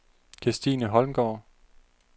Kristine Holmgaard